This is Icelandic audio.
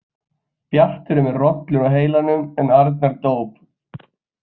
Bjartur er með rollur á heilanum en Arnar dóp.